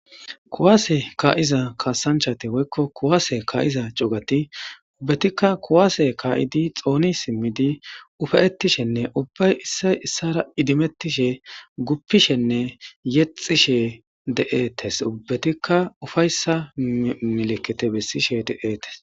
Kuwase ka'iza kasanchat woyko kuwase ka'iza cugati uubatika kuwase ka'id xooni simidi ufa'etishenne ubbayi issoy isara idimetishe , gipishenne yexishe de'etes, ubbatika ufaysa milkite besishe de'etesi.